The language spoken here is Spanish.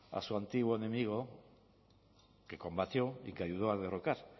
a su antiguo enemigo que combatió y que ayudó a derrocar